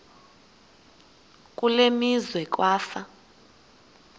kule meazwe kwafa